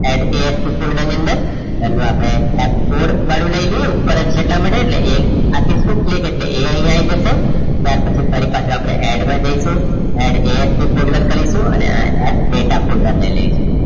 addASP folder ની અંદર પહેલું આપણે આ કોડ પહેલું લઈએ ઉપર જ છે એટલા માટે આપીશું click એટલે એ અહીંયા આવી જશે ત્યાર પછી ફરી આપણે add માં જઈશું ZASP ફોલ્ડર કરીશું અને આ data ફોલ્ડર લઈ લઈશું